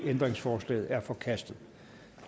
ændringsforslaget er forkastet